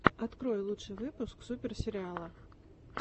открой лучший выпуск супер сериала